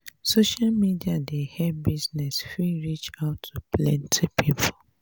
social media dey help business fit reach out to planty pipo